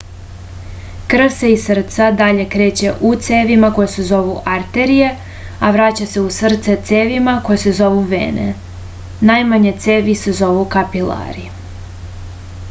krv se iz srca dalje kreće u cevima koje se zovu arterije a vraća se u srce cevima koje se zovu vene najmanje cevi se zovu kapilari